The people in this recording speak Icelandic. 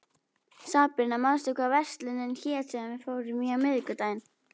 Sabrína, manstu hvað verslunin hét sem við fórum í á miðvikudaginn?